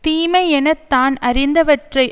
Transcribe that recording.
தீமை என தான் அறிந்தவற்றை